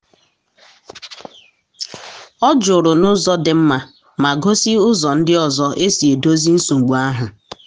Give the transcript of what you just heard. ọ jụrụ n’ụzọ dị mma ma gosi ụzọ ndị ọzọ e si edozi nsogbu ahụ.